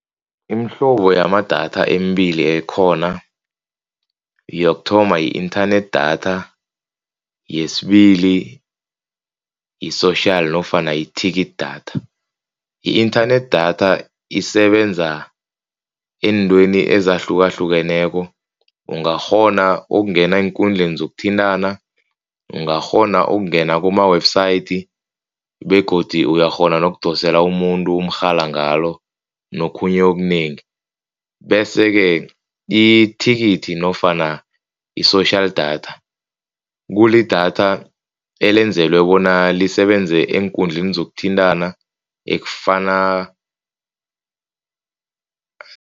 Imihlobo yamadatha embili ekhona. Yokuthoma, yi-internet data, yesibili yi-social nofana yi-ticket datha. I-internet datha isebenza eentweni ezahlukahlukeneko. Ungakghona ukungena eenkundleni zokuthintana. Ungakghona ukungena kuma-website begodu uyakghona kunokudosela umuntu umrhala ngalo nokhunye okunengi, bese-ke i-ticket nofana i-social datha kulidatha elenzelwa bona lisebenze eenkundleni zokuthintana ekufana